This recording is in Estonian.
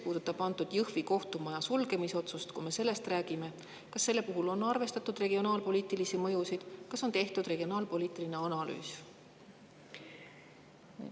Kas Jõhvi kohtumaja sulgemise puhul, kui me sellest räägime, on arvestatud regionaalpoliitilist mõju, kas on tehtud regionaalpoliitiline analüüs?